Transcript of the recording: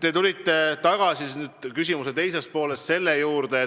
Te tulite küsimuse teises pooles selle juurde,